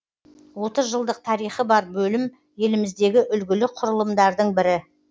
отыз жылдық тарихы бар бөлім еліміздегі үлгілі құрылымдардың бірі